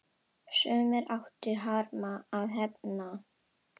Sumir áttu harma að hefna.